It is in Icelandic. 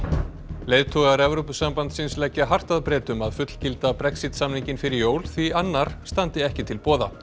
leiðtogar Evrópusambandsins leggja hart að Bretum að fullgilda Brexit samninginn fyrir jól því annar standi ekki til boða